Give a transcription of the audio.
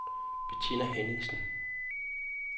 Bettina Henningsen